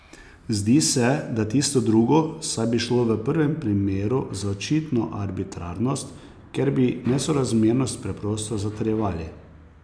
Zdi se, da tisto drugo, saj bi šlo v prvem primeru za očitno arbitrarnost, ker bi nesorazmernost preprosto zatrjevali.